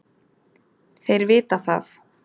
Þeir vita það.